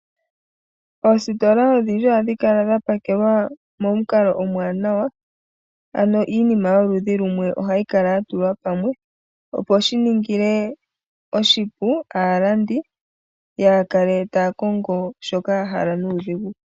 Oositola odhindji ohadhi kala dha pakelwa momukalo omwaanawa aano iinima yoludhi lumwe ohayikala ya tulwa pamwe opo shiningile oshipu aalandi yakale takongo shoka yahala nuudhigu.